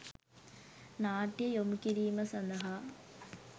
නාට්‍ය යොමු කිරීම සඳහා